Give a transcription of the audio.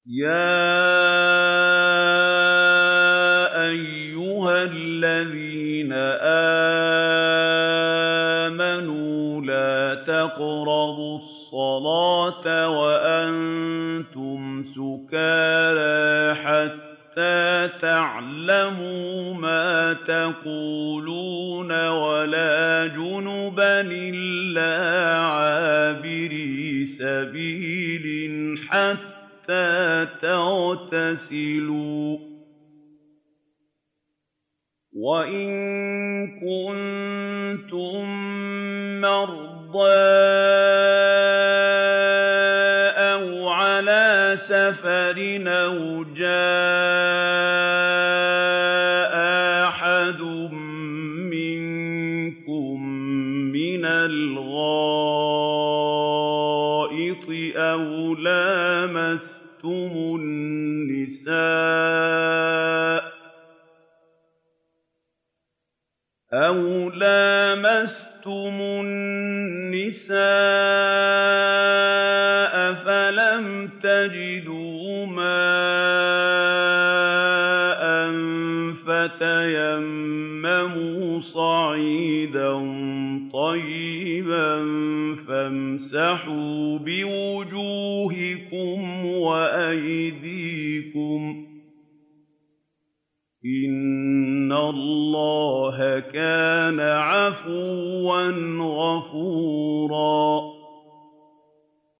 يَا أَيُّهَا الَّذِينَ آمَنُوا لَا تَقْرَبُوا الصَّلَاةَ وَأَنتُمْ سُكَارَىٰ حَتَّىٰ تَعْلَمُوا مَا تَقُولُونَ وَلَا جُنُبًا إِلَّا عَابِرِي سَبِيلٍ حَتَّىٰ تَغْتَسِلُوا ۚ وَإِن كُنتُم مَّرْضَىٰ أَوْ عَلَىٰ سَفَرٍ أَوْ جَاءَ أَحَدٌ مِّنكُم مِّنَ الْغَائِطِ أَوْ لَامَسْتُمُ النِّسَاءَ فَلَمْ تَجِدُوا مَاءً فَتَيَمَّمُوا صَعِيدًا طَيِّبًا فَامْسَحُوا بِوُجُوهِكُمْ وَأَيْدِيكُمْ ۗ إِنَّ اللَّهَ كَانَ عَفُوًّا غَفُورًا